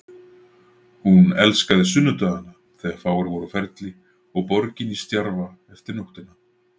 Hún elskaði sunnudagana þegar fáir voru á ferli og borgin í stjarfa eftir nóttina.